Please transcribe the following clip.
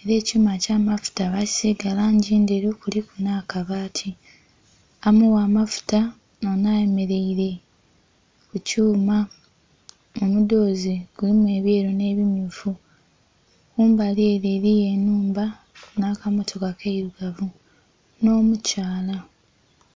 era ekyuuma ekya'mafuta bakisiiga langi ndheru kuliku na' kabaati amugha amafuta noono ayemeleyire kukyuuma, omudoozi kulimu ebyeeru ne bimyuufu, mumbali ere eliyo enhumba na kamotoka kayirugavu no mukyaala .